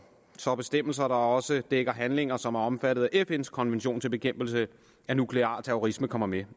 så bestemmelser der også dækker handlinger som er omfattet af fns konvention til bekæmpelse af nuklear terrorisme kommer med